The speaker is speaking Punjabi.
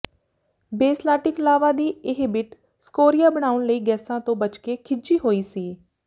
ਬੇਸਲਾਟਿਕ ਲਾਵਾ ਦੀ ਇਹ ਬਿੱਟ ਸਕੋਰੀਆ ਬਣਾਉਣ ਲਈ ਗੈਸਾਂ ਤੋਂ ਬਚਕੇ ਖਿਝੀ ਹੋਈ ਸੀ